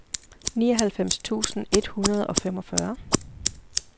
nioghalvfems tusind et hundrede og femogfyrre